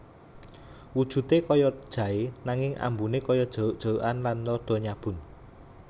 Wujudé kaya jaé nanging ambuné kaya jeruk jerukan lan rada nyabun